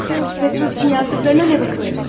Sən Pyotr Petroviç'in yazdıqlarına nə baxırsan?